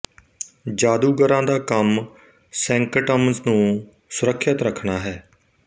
ਜਾਦੂਗਰਾਂ ਦਾ ਕੰਮ ਸੈਂਕਟਮਜ਼ ਨੂੰ ਸੁਰੱਖਿਅਤ ਰੱਖਣਾ ਹੈ